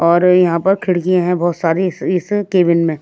और यहाँ पर खिड़कियाँ हैं बहुत सारी इस केबिन में।